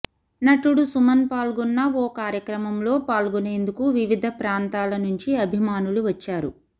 నటుడు సుమన్ పాల్గొన్న ఓ కార్యక్రమంలో పాల్గొనేందుకు వివిధ ప్రాంతాల నుంచి అభిమానులు వచ్చారు